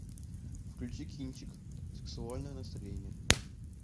включи кинчик сексуальное настроение